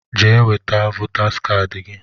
Jee weta votaas kaadị gị!